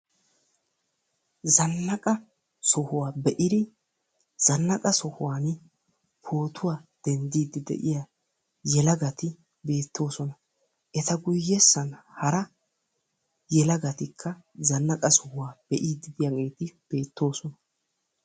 Zannaqa sohuwa be'idi zannaqa sohuwan pootuwa denddiiddi de'iya yelagati beettoosona. Eta guyyessan hara yelagatikka zannaqa sohuwa be'iiddi diyageeti beettoosona.